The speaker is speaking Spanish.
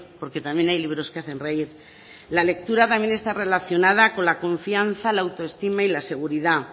porque también hay libros que hacen reír la lectura también está relacionada con la confianza la autoestima y la seguridad